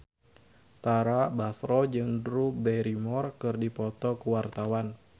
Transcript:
Tara Basro jeung Drew Barrymore keur dipoto ku wartawan